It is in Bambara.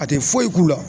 A tɛ foyi k'u la